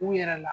U yɛrɛ la